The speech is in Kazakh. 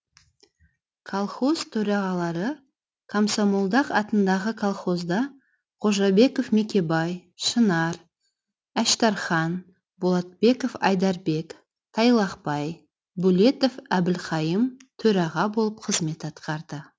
колхоз төрағалары қосмолдақ атындағы колхозда қожабеков мекебай шынар әштархан болатбеков айдарбек тайлақбай бөлетов әбілқайым төраға болып қызмет атқарды